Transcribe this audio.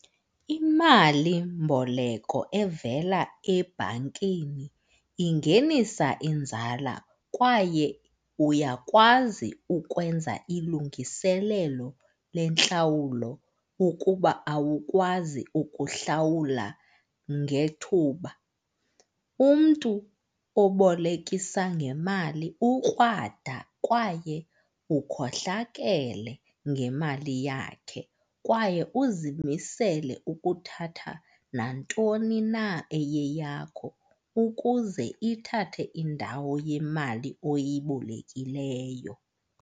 Imalimboleko evela ebhankini ingenisa inzala kwaye uyakwazi ukwenza ilungiselelo lentlawulo ukuba awukwazi ukuhlawula ngethuba. Umntu obolekisa ngemali ukrwada kwaye ukhohlakele ngemali yakhe kwaye uzimisele ukuthatha nantoni na eyiyeyakho ukuze ithathe indawo yemali oyibolekileyo.